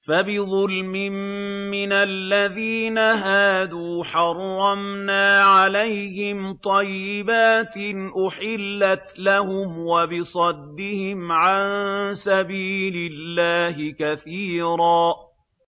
فَبِظُلْمٍ مِّنَ الَّذِينَ هَادُوا حَرَّمْنَا عَلَيْهِمْ طَيِّبَاتٍ أُحِلَّتْ لَهُمْ وَبِصَدِّهِمْ عَن سَبِيلِ اللَّهِ كَثِيرًا